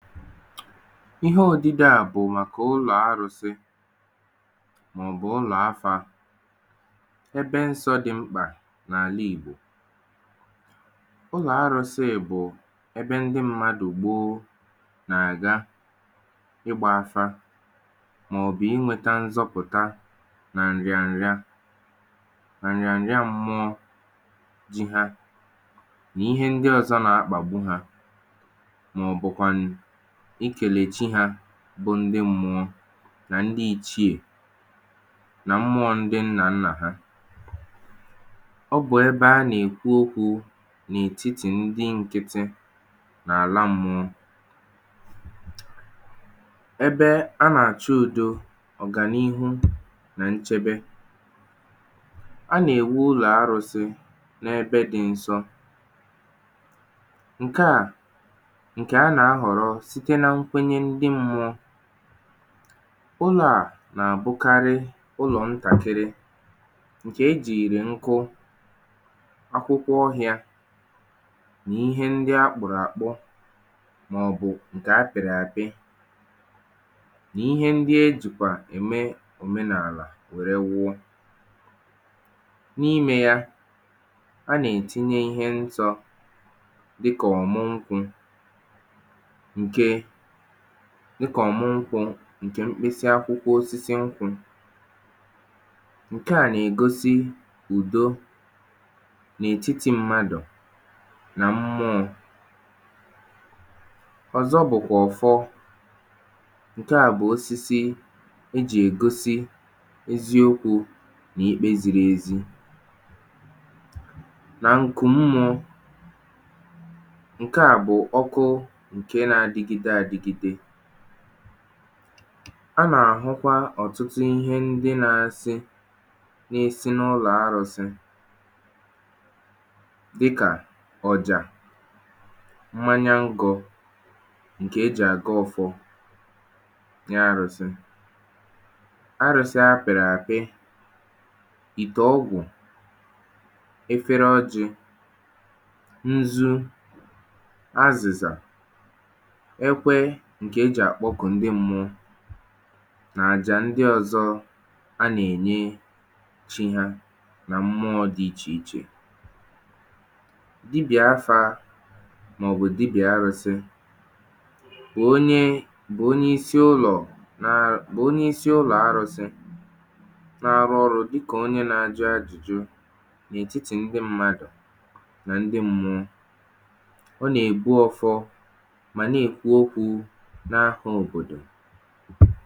ihe odide à bụ̀ màkà ụlọ̀ arụ̄sị, mà ọ̀ bụ̀ ụlọ̀ afā, ebe nsọ̄ dị n’ala Ìgbo. ụlọ̀ arụ̄sị bụ̀ ẹbẹ ndị mmadù gbo nà àga ịgbā afa, mà ọ̀ bụ̀ ịnwẹ̄ta nzọpụ̀ta nà nrịànrịa, nrịànrịa mmụọ, nà ihe ndị ọzọ na akpàgbu ha, mà ọ̀ bụ̀ kwànụ̀ ị kẹ̀nẹ̀ chi hā, ḅụ ndị mmụọ, nà ndị ichiè, nà mmụọ ndị nnā nnà ha. ọ bụ̀ ẹbẹ a nà èkwu okwū n’ètitì ndị nkiti n’àla mmụọ. ẹbẹ a nà àchọ udo, ọ̀gànịhụ, nà nchẹbẹ, a nà èwu ụlọ̀ arụ̄sị, n’ẹbẹ dị nsọ. ǹkẹ à, ǹkẹ̀ a nà ahọ̀rọ, site na mkwenye ndị mmụọ. ụlọ̄ à nà àbụkarị ụlọ̀ ntàkịrị, ǹkè e jìrì nkụ, akwụkwọ ohịā, nà ihe ndị a kpụ̀rụ̀ àkpụ, mà ọ̀ bụ̀ ǹkè a pị̀rị àpị, nà ihe ndị e jìkwà òmenàlà wẹ̀rẹ wuọ. n’imē ya, a nà ètinye ihe nsọ̄, dịkà ọ̀mụ nkwū, ǹkè mkpịsị akwụkwọ osisi nkwụ̄. ǹkẹ à nà ègosi ùdo n’ètiti mmadù nà m̀mụọ. ọ̀zọ bụ̀kwà ọ̀fọ. ǹkẹ à bụ̀kwà osisi e jì ègosi eziokwū, nà ikpe ziri ezi. nà ǹkù mmụọ̄, ǹkẹ à bụ̀ ọkụ ǹkẹ na adịgịde adigide. a nà àhụkwa ọ̀tụtụ ịhẹ ndị na asị, na esi n’ụlọ̄ arụ̄sị, dịkà ọ̀jà, mmanya ngọ̄, ǹkè e jì àgọ ọfọ n’arụsị. arụ̄sị apị̀rị̀ àpị, ìtèọgwụ̀, efere ọjị̄, nzu, azị̀zà, ẹkwẹ, ǹkè e jì àkpọkù ndị mmuọ, nà àjà ndị ọzọ a nà ènye chi ha, nà ndị ọzọ dị ichè ichè. dịbị̀à afā, mà ọ̀ bụ dịbị̀à arụ̄sị, onye bụ isi ụlọ̀ na, bụ onye isi ụlọ̀ arụ̄sị, na arụ ọrụ̄ dịkà onye ajụ̀jụ, n’etitì ndị mmadù, nà ndị mmụọ. ọ nà ègbu ọfọ, mà nà èkwu okwū n’afọ̄ òbòdò